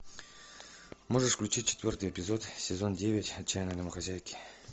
можешь включить четвертый эпизод сезон девять отчаянные домохозяйки